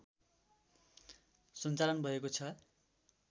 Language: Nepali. सञ्चालन भएको छ